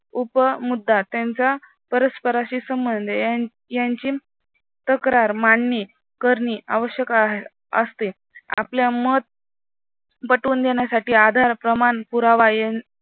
उप मुद्दा त्यांचा परस्परांशी संबंध यांची तक्रार मांडणी करणे आवश्यक असते आपला मत पटवून देण्यासाठी आधार, प्रमाण, पुरावा